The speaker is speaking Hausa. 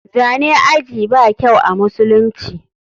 Zane ajii ba kyau amusulunci.